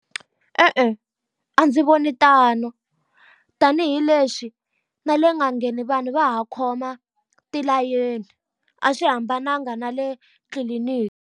E-e, a ndzi voni tano. Tanihi lexi na le nga ngheni vanhu va ha khoma tilayeni, a swi hambananga na le tliliniki.